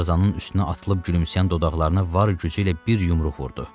Tarzanın üstünə atılıb gülümsəyən dodaqlarına var gücü ilə bir yumruq vurdu.